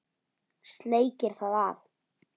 Sleikir það af.